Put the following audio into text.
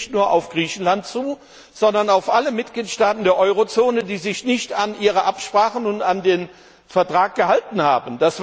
Das trifft nicht nur auf Griechenland zu, sondern auf alle Mitgliedstaaten der Eurozone, die sich nicht an ihre Absprachen und an den Vertrag gehalten haben.